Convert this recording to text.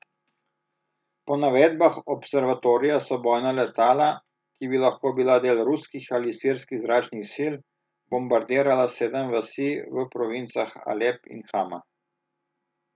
Po navedbah observatorija so bojna letala, ki bi lahko bila del ruskih ali sirskih zračnih sil, bombardirala sedem vasi v provincah Alep in Hama.